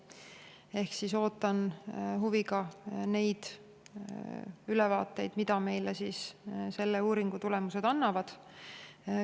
Ehk siis ootan huviga ülevaateid, mida selle uuringu tulemused meile annavad.